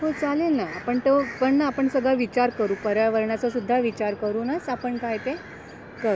हो चालेल ना पण ना आपण सगळा विचार करू. पर्यावरणाचा सुद्धा विचार करूनच आपण काय ते करू.